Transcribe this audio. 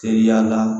Teriya la